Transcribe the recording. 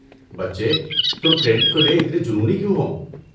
بچے، تم کریڈٹ کو لے اتنے جنونی کیوں ہو؟